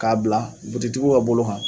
K'a bila butigitigiw ka bolo kan